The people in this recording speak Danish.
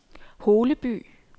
Holeby